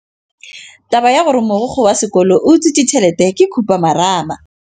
Taba ya gore mogokgo wa sekolo o utswitse tšhelete ke khupamarama.